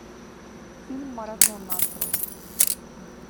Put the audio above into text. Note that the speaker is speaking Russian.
фильм марадона открой